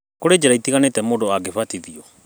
Kũrĩ njĩra itiganĩte mũndũ angĩbatithio?